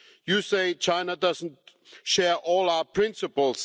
You say China does not share all our principles.